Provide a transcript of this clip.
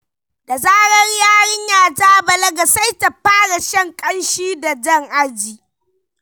Da zarar yarinya ta balaga, sai ta fara shan ƙanshi da jan aji.